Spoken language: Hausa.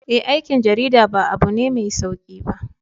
Eh, aikin jarida ba abu ne mai sauki ba.